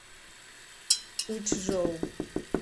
учжоу